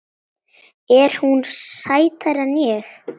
Er hún sætari en ég?